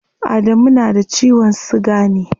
Adamu na da ciwon siga ne?